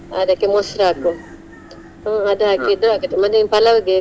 ಅದಕ್ಕೆ ಮೊಸರು ಹಾಕು ಹ್ಮ್ ಅದು ಆಗತ್ತೆ ಮತ್ತೆ ನೀನ್ palav ಗೆ.